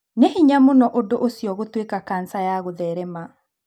Nĩ hĩnya mũno ũndũ ũcio gũtuĩka kanca ya gũtherema.